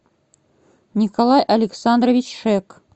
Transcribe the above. николай александрович шек